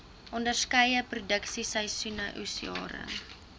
onderskeie produksieseisoene oesjare